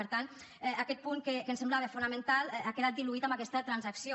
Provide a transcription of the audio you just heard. per tant aquest punt que ens semblava fonamental ha quedat diluït amb aquesta transacció